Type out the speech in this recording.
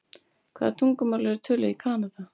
Hvaða tungumál eru töluð í Kanada?